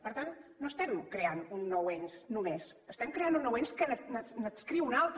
per tant no estem creant un nou ens només estem creant un nou ens que n’adscriu un altre